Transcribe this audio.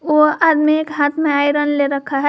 वो आदमी एक हाथ में आयरन ले रखा है।